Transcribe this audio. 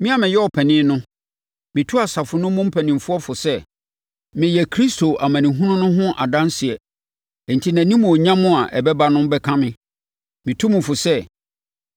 Me a meyɛ ɔpanin no, metu asafo no mu mpanimfoɔ fo sɛ, meyɛ Kristo amanehunu no ho adanseɛ enti nʼanimuonyam a ɛbɛba no bɛka me. Metu mo fo sɛ,